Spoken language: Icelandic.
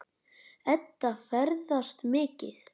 Edda ferðast mikið.